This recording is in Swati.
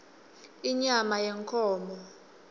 inyama yenkhomo